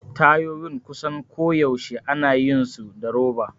Tayoyin kusan koyaushe ana yin su da roba.